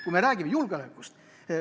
Kui me räägime julgeolekust ...